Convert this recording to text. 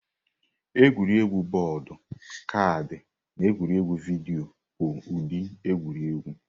Egwuregwu bọọdụ, kaadị, na egwuregwu vidio bụ ụdị egwuregwu.